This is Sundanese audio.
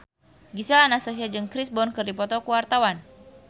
Gisel Anastasia jeung Chris Brown keur dipoto ku wartawan